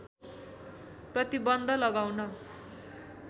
प्रतिबन्ध लगाउन